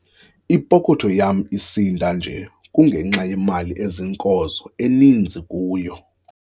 Ipokotho yam isinda nje kungenxa yemali eziinkozo eninzi kuyo.